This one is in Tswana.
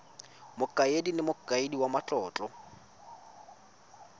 mokaedi le mokaedi wa matlotlo